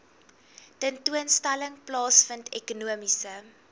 tentoonstelling plaasvind ekonomiese